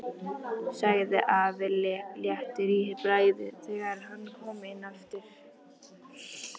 sagði afi léttur í bragði þegar hann kom inn aftur.